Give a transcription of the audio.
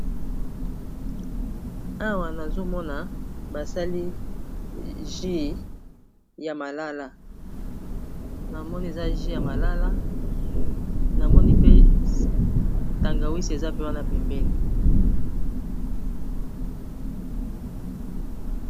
Awa nazomona basali jus ya malala, namoni eza jus ya malala, namoni pe tangawizi eza mpe wana pembeni.